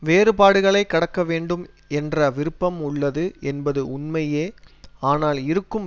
வேறுபாடுகளை கடக்க வேண்டும் என்ற விருப்பம் உள்ளது என்பது உண்மையே ஆனால் இருக்கும்